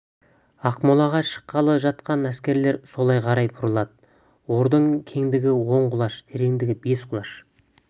ақмолаға шыққалы жатқан әскер солай қарай бұрылады ордың кеңдігі он құлаш тереңдігі бес құлаш